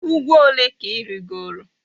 Ugwu ole ka i rigoro?